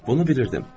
Bunu bilirdim.